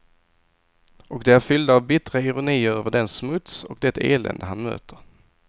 Och de är fyllda av bittra ironier över den smuts och det elände han möter.